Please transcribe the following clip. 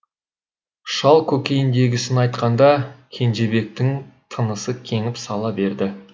шал көкейіндегісін айтқанда кенжебектің тынысы кеңіп сала берді